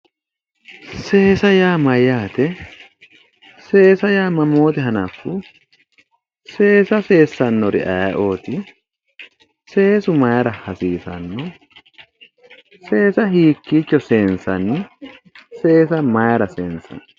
Seesa yaa mayyaate? seesa yaa mamoote hanaffu? seesa seessannori ayeeooti? seesu maayiira hasiisanno? seesa hiikkiicho seensanni? seesa maayiira seensanni?